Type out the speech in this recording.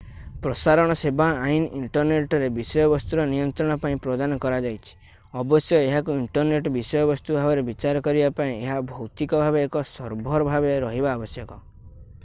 ପ୍ରସାରଣ ସେବା ଆଇନ ଇଣ୍ଟରନେଟ୍‌ରେ ବିଷୟବସ୍ତୁର ନିୟନ୍ତ୍ରଣ ପାଇଁ ପ୍ରଦାନ କରାଯାଇଛି ଅବଶ୍ୟ ଏହାକୁ ଇଣ୍ଟରନେଟ୍ ବିଷୟବସ୍ତୁ ଭାବରେ ବିଚାର କରିବା ପାଇଁ ଏହା ଭୌତିକ ଭାବରେ ଏକ ସର୍ଭର ଭାବରେ ରହିବା ଆବଶ୍ୟକ।